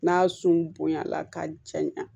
N'a sun bonyala k'a jaɲa